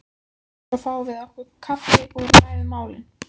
Svo fáum við okkur kaffi og ræðum málin.